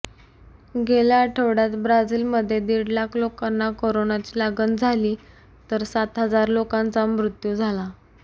गेल्या आठवड्यात ब्राझिलमध्ये दिड लाख लोकांना कोरोनाची लागण झाली तर सात हजार लोकांचा मृत्यू झाला